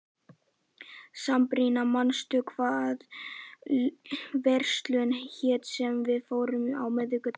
Sabrína, manstu hvað verslunin hét sem við fórum í á miðvikudaginn?